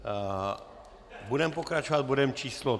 Budeme pokračovat bodem číslo